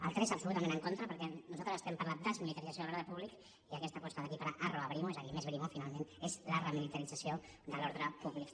del tres absolutament en contra perquè nosaltres estem per la desmilitarització de l’ordre públic i aquesta aposta d’equiparar arro a brimo és a dir més brimo finalment és la remilitarització de l’ordre públic